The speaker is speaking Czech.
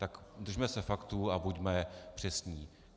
Tak držme se faktů a buďme přesní.